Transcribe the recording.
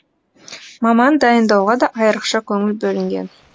маман дайындауға да айрықша көңіл бөлінген